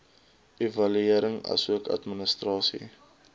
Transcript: evaluering asook administrasie